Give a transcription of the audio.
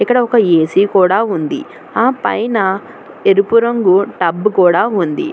ఇక్కడ ఒక ఏ_సీ కూడా ఉంది ఆ పైన ఎరుపు రంగు టబ్బు కూడా ఉంది.